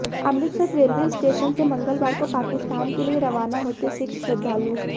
Amritsar railway station से मंगलवार को पाकिस्तान के लिए रवाना होते सिख श्रद्धालु